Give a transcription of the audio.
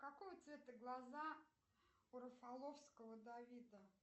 какого цвета глаза у рафаловского давида